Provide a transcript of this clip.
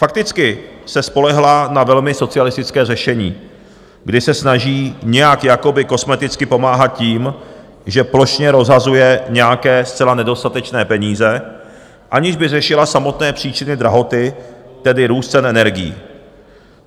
Fakticky se spolehla na velmi socialistické řešení, kdy se snaží nějak jakoby kosmeticky pomáhat tím, že plošně rozhazuje nějaké zcela nedostatečné peníze, aniž by řešila samotné příčiny drahoty, tedy růst cen energií.